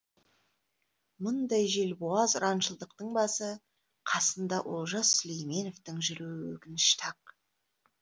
мұндай желбуаз ұраншылдықтың басы қасында олжас сүлейменовтің жүруі өкінішті ақ